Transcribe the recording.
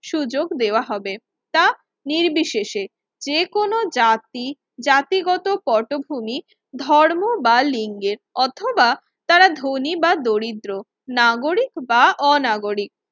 সুযোগ দেওয়া হবে। তা নির্বিশেষে যেকোনো জাতি জাতিগত পটভূমি ধর্ম বা লিঙ্গের অথবা তারা ধনী বা দরিদ্র নাগরিক বা অনাগরিক।